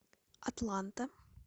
атланта